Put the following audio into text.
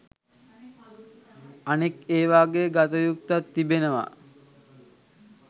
අනෙක් එවාගේ ගතයුත්තක් තිබෙනවා